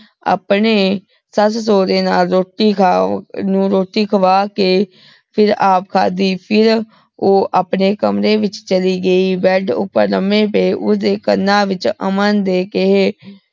ਅਪਨੇ ਸਾਸ ਸਾਰੇ ਨਾਲ ਰੋਟੀ ਖਾ ਨੂ ਰੋਟੀ ਖਵਾ ਕੇ ਫੇਰ ਆਪ ਖਾਦੀ ਫੇਰ ਊ ਅਪਨੇ ਕਮਰੇ ਵਿਚ ਚਲੀ ਗਈ ਬੇਦ ਊਟੀ ਲਾਮੀ ਪੈ ਓਦੇ ਕਣਾਂ ਵਿਚ ਅਮਨ ਦੇ ਕਹੇ